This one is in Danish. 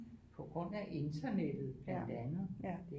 På grund af internettet blandt andet